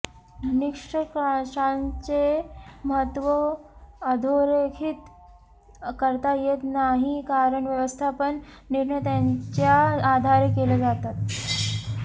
निष्कर्षांचे महत्त्व अधोरेखीत करता येत नाही कारण व्यवस्थापन निर्णय त्यांच्या आधारे केले जातात